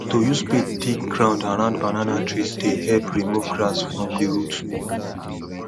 to use spade dig ground around banana trees dey help remove grass from the root